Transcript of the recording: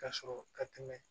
Ka sɔrɔ ka tɛmɛ